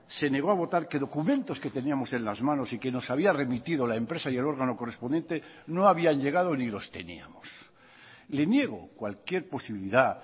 se negó a votar que documentos que teníamos en las manos y que nos había remitido la empresa y el órgano correspondiente no habían llegado ni los teníamos le niego cualquier posibilidad